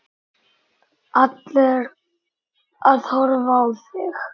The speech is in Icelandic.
Allir að horfa á þig.